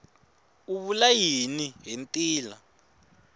u vula yini hi ntila